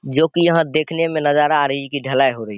जो कि यहाँ देखने में नजर आ रही है की ढलाई हो रही।